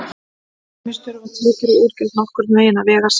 Til dæmis þurfa tekjur og útgjöld nokkurn veginn að vega salt.